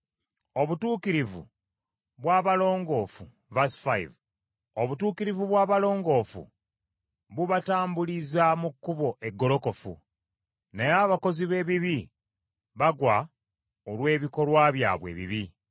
Obutuukirivu bw’abalongoofu bubatambuliza mu kkubo eggolokofu naye abakozi b’ebibi bagwa olw’ebikolwa byabwe ebibi.